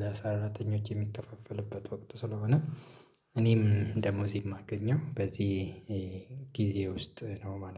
ለሰራተኞች የሚከፋፈልበት ወቅት ስለሆነ እኔም ደሞዜ የማገኘው በዚህ ጊዜ ውስጥ ነው ማለት ነው።